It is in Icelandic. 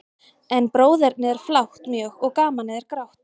En bróðernið er flátt mjög, og gamanið er grátt.